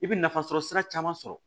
I bɛ nafa sɔrɔ sira caman sɔrɔ